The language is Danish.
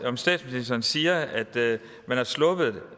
om statsministeren siger at man er sluppet